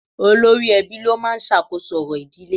Olórí ẹbí ló máa ń sàkóso orò ìdílé